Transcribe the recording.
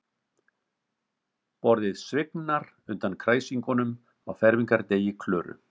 Borðið svignar undan kræsingunum á fermingardegi Klöru.